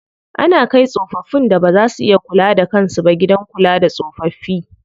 Ana kai tsofaffin da baza su iya kula da kan su ba gidan kula da tsofaffi.